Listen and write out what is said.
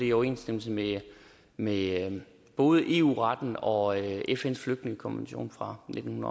i overensstemmelse med med både eu retten og fns flygtningekonvention fra nitten